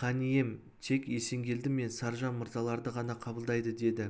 хан ием тек есенгелді мен саржан мырзаларды ғана қабылдайды деді